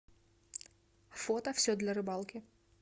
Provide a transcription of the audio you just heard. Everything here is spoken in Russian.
фото все для рыбалки